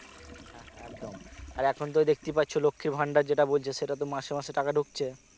হ্যাঁ হ্যাঁ একদম আর এখন তো দেখতেই পাচ্ছ লক্ষী ভান্ডার যেটা বলছে সেটা তো মাসে মাসে টাকা টাকা ঢুকছে